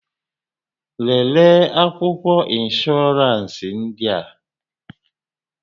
Lelee akwụkwọ ịnsbhọọransị ndị a!